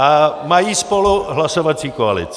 A mají spolu hlasovací koalici.